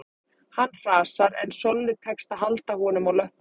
Hann hrasar en Sollu tekst að halda honum á löppunum